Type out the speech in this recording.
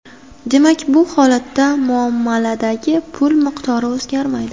Demak, bu holatda muomaladagi pul miqdori o‘zgarmaydi.